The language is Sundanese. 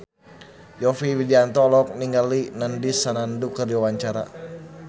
Yovie Widianto olohok ningali Nandish Sandhu keur diwawancara